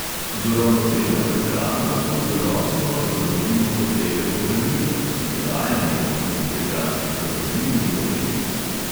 Z uravnoteženo prehrano lahko zadostno zadovoljimo potrebe po hranilih in dodajanje v obliki prehranskih dopolnil ni potrebno.